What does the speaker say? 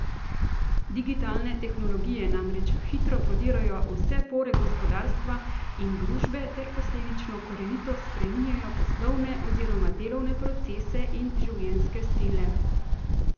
Digitalne tehnologije namreč hitro prodirajo v vse pore gospodarstva in družbe ter posledično korenito spreminjajo poslovne oziroma delovne procese in življenjske stile.